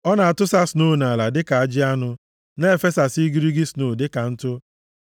Ọ na-atụsa snoo nʼala dịka ajị anụ, na-efesasị igirigi snoo dịka ntụ.